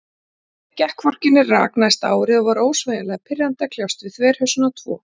Gekk hvorki né rak næsta árið, og var ósegjanlega pirrandi að kljást við þverhausana tvo.